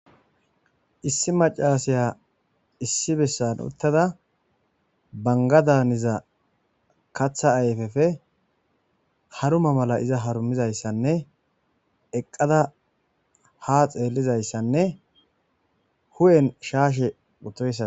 issi macasaya issi bessan uttada bangadaniza katha ayfefe haruma mala iza harumizayssanne eqqada ha xeellizayssanne hu7en shaashe utoyssa